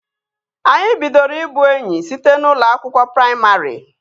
Anyị bidoro ị bụ enyi site n'ụlọ akwụkwọ praimarị